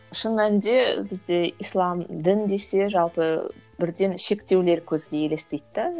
шын мәнінде бізде ислам дін десе жалпы бірден шектеулер көзге елестейді де